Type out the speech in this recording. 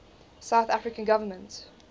south african government